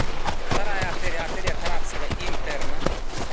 вторая артерия артерия таратская интерна